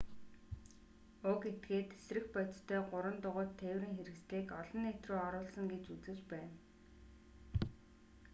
уг этгээд тэсрэх бодистой гурван дугуйт тээврийн хэрэгслийг олон нийт рүү оруулсан гэж үзэж байна